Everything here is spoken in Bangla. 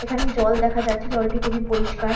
এখানে জল দেখা যাচ্ছে। জলটি খুবই পরিষ্কার।